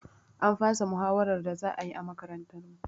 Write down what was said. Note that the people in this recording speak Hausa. An fasa muhawarar da za ayi a makarantar mu